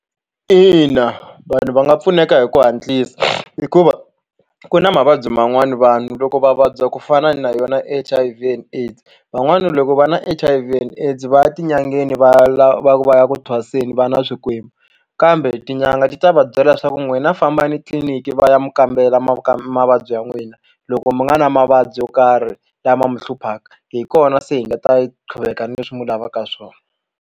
Ina vanhu va nga pfuneka hi ku hatlisa hikuva ku na mavabyi man'wani vanhu loko va vabya ku fana na yona H_I_V and AIDS van'wana loko va na H_I_V and AIDS va ya etin'angeni va lava va ku va ya ku thwaseke va na swikwembu kambe tin'anga ti ta va byela leswaku n'wina fambani tliliniki va ya mu kambela ma mavabyi ya n'wina loko mi nga na mavabyi yo karhi lama mi hluphaka hi kona se hi nga ta qhuveka ni leswi mu lavaka swona.